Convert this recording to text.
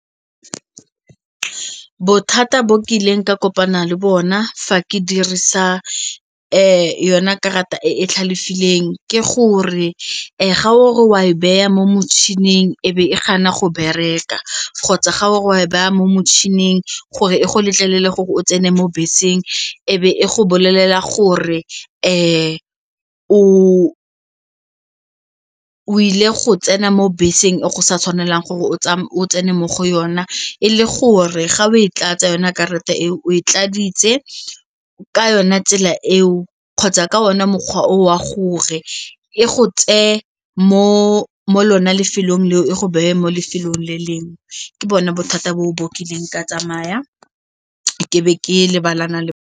Bothata bo ke ileng ka kopana le bona fa ke dirisa yona karata e e tlhalefileng ke gore ga o re wa e baya mo motšhining e be e gana go bereka kgotsa ga o re wa e baya mo motšhining gore e go letlelele gore o tsene mo beseng e be e go bolelela gore e o o ile go tsena mo beseng e go sa tshwanelang gore o tsene mo go yona e le gore ga o e tlatse yone karata e e o e tladitse ka yona tsela eo kgotsa ka one mokgwa o a gore e go tseye mo lona lefelong leo e go beye mo lefelong le lengwe ke bona bothata bo o bakileng ke tsamaya ke be ke lebana le bona.